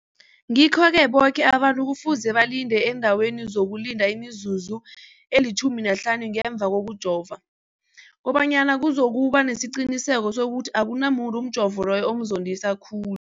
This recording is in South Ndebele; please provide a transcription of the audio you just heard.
Ngikho-ke boke abantu kufuze balinde endaweni yokulinda imizuzu eli-15 ngemva kokujova, koba nyana kuzokuba nesiqiniseko sokuthi akunamuntu umjovo loyo omzondisa khulu.